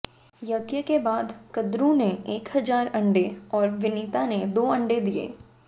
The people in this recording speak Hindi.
यज्ञ के बाद कद्रू ने एक हजार अंडे और विनिता ने दो अंडे दिए